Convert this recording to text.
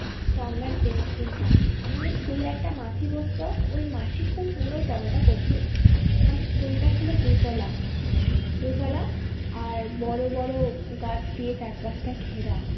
তো আমরা জিনিস কিনতাম। আমাদের school এ একটা মাসি বসতো ওই মাসি খুব সুন্দর পরোটা করতো। আমাদের school টা ছিল দুতলা দুতলা আর বড়ো বড়ো গাছ দিয়ে চারপাশটা ঘেরা।